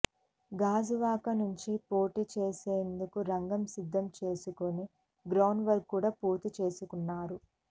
గాజువాక నుంచి పోటీ చేసేందుకు రంగం సిద్ధం చేసుకుని గ్రౌండ్ వర్క్ కూడా పూర్తి చేసుకున్నారు